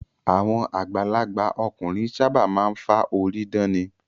Àwọn àgbàlagbà ọkùnrin ṣábà máa ń fá orí dán ni.